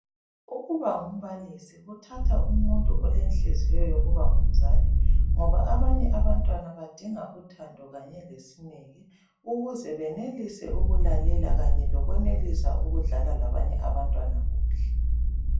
Ukuba ngumbalisi kuthatha umuntu olenhliziyo yokuba ngumzali ngoba abanye abantwana badinga uthando kanye lesineke ukuze benelise ukulalela kanye lokwenelisa ukudlala labanye abantwana kuhle.